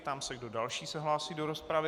Ptám se, kdo další se hlásí do rozpravy.